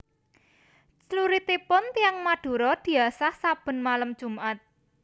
Cluritipun tiyang Madura diasah saben malem jumat